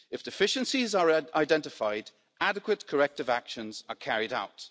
If deficiencies are identified, adequate corrective actions are carried out.